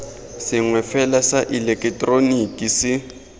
sengwe fela sa ileketeroniki se